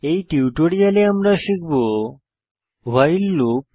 এই টিউটোরিয়ালে আমরা শিখব ভাইল লুপ